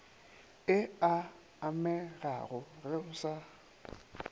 e amegago ge o sa